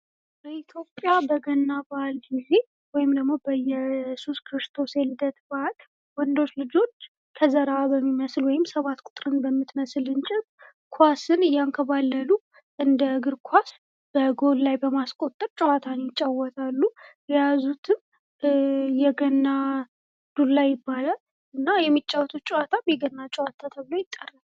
በኢትዮጲያ በገና በዐል ጊዘ ወይም በኢየሱስ ክርስቶስ የልደት በዐል ወንዶች ልጆች ከዘራ በሚመስል ወይም 7 ቁጥርን በምትመስል እንጨት ኳስን እያንከባለሉ እንደ እግር ኳስ በጎል ላይ በማስቆጠር ጨዋታን ይጫወታሉ። የያዙትም የገና ዱላ ይባላል እና የሚጫወቱትም ጨዋታ የገና ጨዋታ ይባላል።